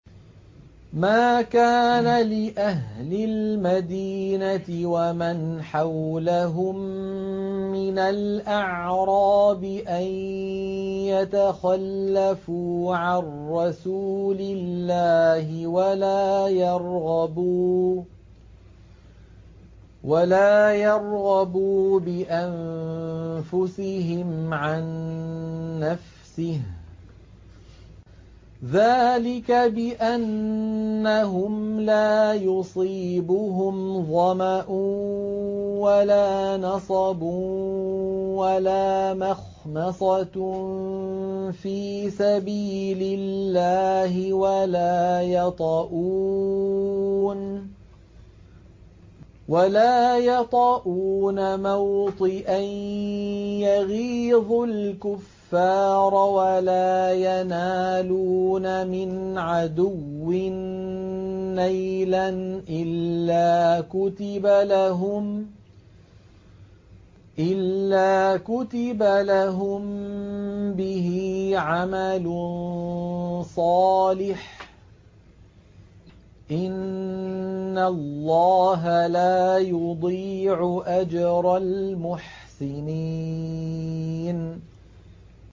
مَا كَانَ لِأَهْلِ الْمَدِينَةِ وَمَنْ حَوْلَهُم مِّنَ الْأَعْرَابِ أَن يَتَخَلَّفُوا عَن رَّسُولِ اللَّهِ وَلَا يَرْغَبُوا بِأَنفُسِهِمْ عَن نَّفْسِهِ ۚ ذَٰلِكَ بِأَنَّهُمْ لَا يُصِيبُهُمْ ظَمَأٌ وَلَا نَصَبٌ وَلَا مَخْمَصَةٌ فِي سَبِيلِ اللَّهِ وَلَا يَطَئُونَ مَوْطِئًا يَغِيظُ الْكُفَّارَ وَلَا يَنَالُونَ مِنْ عَدُوٍّ نَّيْلًا إِلَّا كُتِبَ لَهُم بِهِ عَمَلٌ صَالِحٌ ۚ إِنَّ اللَّهَ لَا يُضِيعُ أَجْرَ الْمُحْسِنِينَ